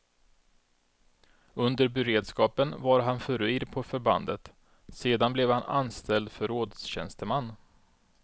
Under beredskapen var han furir på förbandet, sedan blev han anställd förrådstjänsteman.